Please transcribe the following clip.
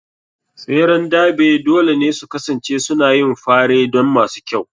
tseren Derby dole ne su kasance suna yin fare don masu kyau.